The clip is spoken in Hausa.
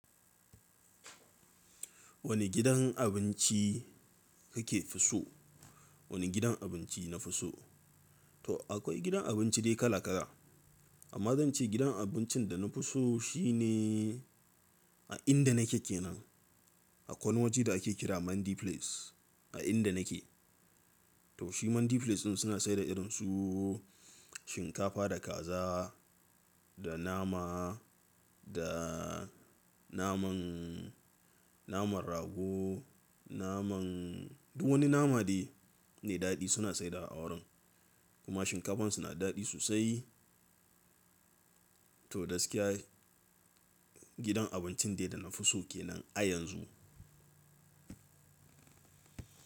Wani gidan abinci kake so? Wani gidan abinci na fi so? To akwai gidan abinci dai kala kala, amma zan ce gidan abincin da na fi so shine a inda nake kenan. Akwai wani waje da ake kira Mandy Place, a inda nake. To shi Mandy Place din suna sayar da irinsu shinkafa da kaza, da nama, da naman, naman rago, naman duk wani nama ne da daɗi suna sayar dawa awurin kuma shinkafan su nada daɗi sosai. To gaskiya gidan abincin dai da na fi so kenan a yanzu.